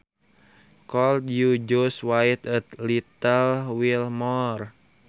Could you just wait a little while more